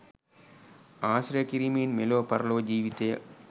ආශ්‍රය කිරීමෙන් මෙලොව පරලොව ජීවිතය